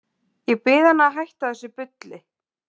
Ég bið hana um að hætta þessu bulli.